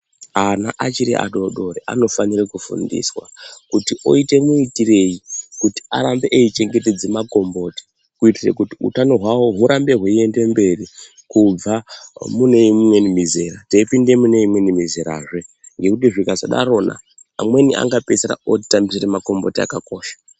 Ana achiri adodori anofanire kufundiswa kuti oite muitirei kuti arambe eichengetedza makomboti kuitire kuti utano hwavo hurambe hweiende mberi kubva mune imweni mizera teipinde mune imweni mizera zvee, nekuti zvikasadarona amweni angapeisira otanzira makomboti akakosha.